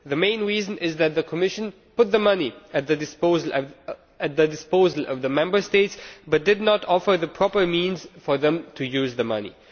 The main reason is that the Commission put the money at the disposal of the Member States but did not offer the proper means for them to use the money.